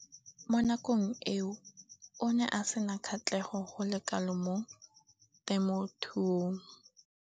Mo nakong eo o ne a sena kgatlhego go le kalo mo temothuong.